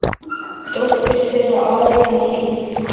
Dóttir þeirra: Aríanna Líf.